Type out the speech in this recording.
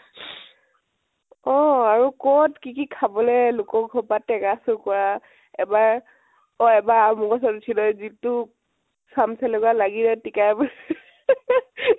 অ । আৰু কত কি কি খাবলে, লোকৰ ঘৰ ৰ পৰা তেঙা চুৰ কৰা এবাৰ অ এবাৰ আমঅৰ গছৰ ওপৰত উঠি লৈ যিটো চাম চেলেকুৱা লাগিলে তিকায়ে মোৰে